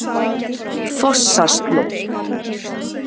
Fossaslóð